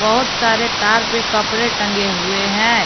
बहोत सारे तार पे कपड़े टंगे हुए हैं।